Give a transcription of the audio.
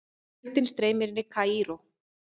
Fjöldinn streymir inn í Kaíró